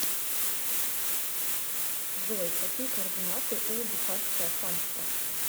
джой какие координаты у бухарское ханство